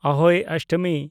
ᱟᱦᱳᱭ ᱚᱥᱴᱚᱢᱤ